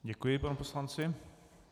Děkuji panu poslanci.